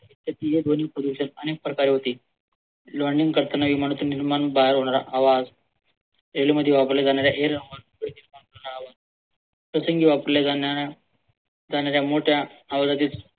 ध्वनी प्रदूषण अनेक प्रकारे होते. yawning करताना इमारतीतून निघणारा होणारा आवाज railway मध्ये वापरला जाणारा आवाज त्याने जर मोठ्या